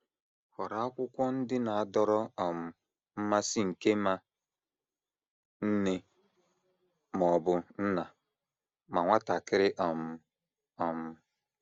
Họrọ akwụkwọ ndị na - adọrọ um mmasị nke ma nne ma ọ bụ nna ma nwatakịrị um. um